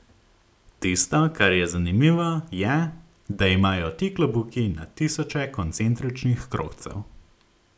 Tisto, kar je zanimivo, je, da imajo ti klobuki na tisoče koncentričnih krogcev.